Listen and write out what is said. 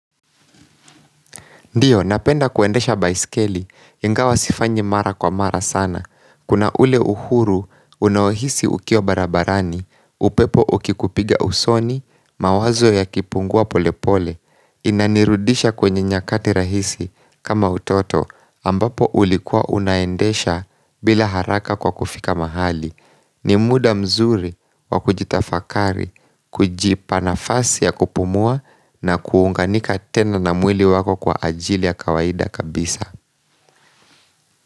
Ndiyo, napenda kuendesha baiskeli, ingawa sifanyi mara kwa mara sana. Kuna ule uhuru, unawohisi ukiwa barabarani, upepo ukikupiga usoni, mawazo yakipungua polepole, inanirudisha kwenye nyakati rahisi kama utoto ambapo ulikua unaendesha bila haraka kwa kufika mahali. Ni muda mzuri wa kujitafakari Kujipanafasi ya kupumua na kuunganika tena na mwili wako kwa ajili ya kawaida kabisa.